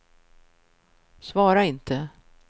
svara inte